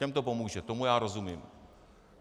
Těm to pomůže, tomu já rozumím.